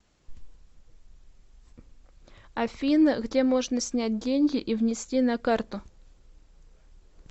афина где можно снять деньги и внести на карту